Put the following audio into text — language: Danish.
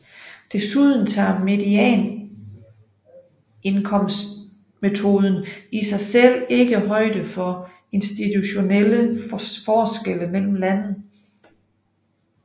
Desuden tager medianindkomstmetoden i sig selv ikke højde for institutionelle forskelle mellem lande